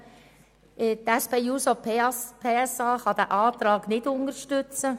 Die SP-JUSO-PSAFraktion kann diese Anträge nicht unterstützen.